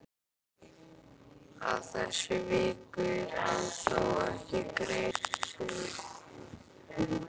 Að þessu víkur hann þó ekki í grein sinni.